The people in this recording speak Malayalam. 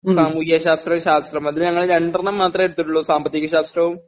സാമൂഹ്യശാസ്ത്രം, ശാസ്ത്രം ഇത് ഞങ്ങളെ രണ്ടെണ്ണംമാത്രേ എടുത്തിട്ടുള്ളൂ സാമ്പത്തിക ശാസ്ത്രവും